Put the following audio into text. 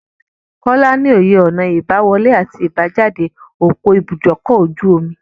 Kọ́lá ní òye ọ̀nà ìbá wọlé àti ìbá jáde ọ̀pọ̀ ibúdókọ̀-ojú-omi.